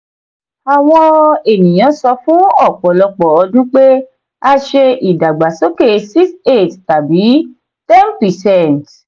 "àwọn ènìyàn sọ fún ọpọlọpọ ọdun pé a ṣe ìdàgbàsókè 6 8 tàbí 10 percent."